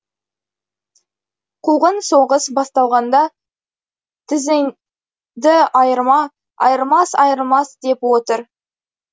қуғын соғыс басталғанда тізенді айырма айрылмас айрылмас деп отыр